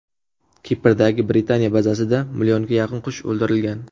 Kiprdagi Britaniya bazasida millionga yaqin qush o‘ldirilgan.